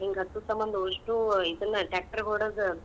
ಹಿಂಗ್ ಹತ್ತೂ ಸಮಂದ್ಉಷ್ಟು ಇದನ tractor ಹೊಡದ್.